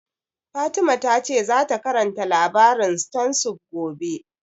Fatima ta ce za ta karanta labarin stone soup gobe